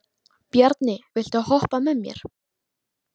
Bjarni, viltu hoppa með mér?